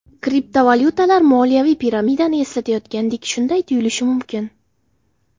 Kriptovalyutalar moliyaviy piramidani eslatayotgandek Shunday tuyulishi mumkin.